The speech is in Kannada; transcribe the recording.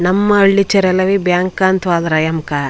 ನಮ್ಮ ಹಳ್ಳಿ ಚರದಲ್ಲಿ ಬ್ಯಾಂಕ್ ಅಂತ ಹೋದ್ರೆ ಎಂಕ.